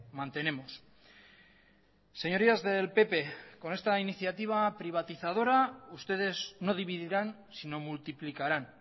mantenemos señorías del pp con esta iniciativa privatizadora ustedes no dividirán sino multiplicarán